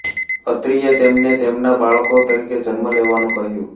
અત્રિએ તેમને તેમના બાળકો તરીકે જન્મ લેવાનું કહ્યું